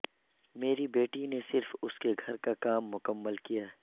میری بیٹی نے صرف اس کے گھر کا کام مکمل کیا ہے